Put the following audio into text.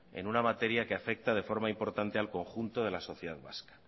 en una materia que afecta de forma importante al conjunto de la sociedad vasca